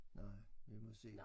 Nej vi må se